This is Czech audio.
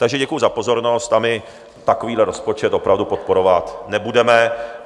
Takže děkuji za pozornost a my takovýhle rozpočet opravdu podporovat nebudeme.